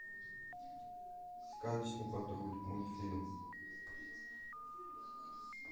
сказочный патруль мультфильм